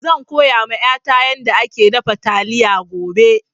Zan koya wa ƴata yanda ake dafa taliya gobe